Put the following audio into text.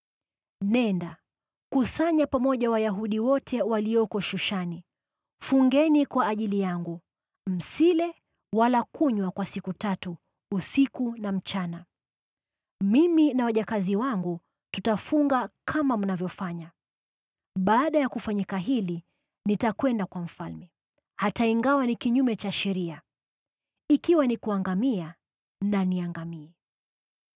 “Nenda, kusanya pamoja Wayahudi wote walioko Shushani, nanyi mfunge kwa ajili yangu. Msile wala kunywa kwa siku tatu, usiku na mchana. Mimi na wajakazi wangu tutafunga kama mnavyofanya. Baada ya kufanyika hili, nitakwenda kwa mfalme, hata ingawa ni kinyume cha sheria. Ikiwa ni kuangamia na niangamie.”